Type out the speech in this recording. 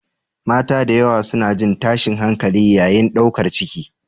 Mata da yawa suna jin tashin hankali yayin ɗaukar ciki.